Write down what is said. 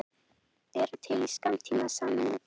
Eru til í skammtímasamning